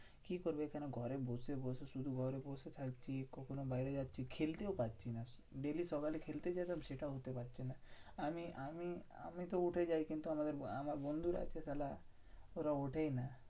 কি করবি? এখানে ঘরে বসে বসে। শুধু ঘরে বসে থাকছি, কখনো বাইরে যাচ্ছি, খেলতেও পাচ্ছিনা। daily সকালে খেলতে যেতাম, সেটাও হতে পাচ্ছে না। আমি আমি~ আমিতো উঠে যাই কিন্তু আমাদের আমার বন্ধুরা যে সালা ওরা ওঠেই না।